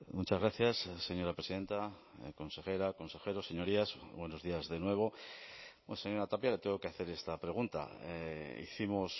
muchas gracias señora presidenta consejera consejero señorías buenos días de nuevo señora tapia le tengo que hacer esta pregunta hicimos